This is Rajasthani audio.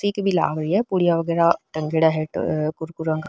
सी लाग री है पुडिया वगेरा टंगेडा है कुरकुरा --